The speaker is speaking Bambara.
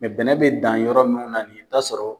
bɛnɛ bɛ dan yɔrɔ munnu na ni i bɛ taa sɔrɔ.